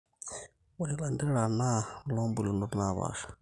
ore lanterera naa loo bulunot naapasha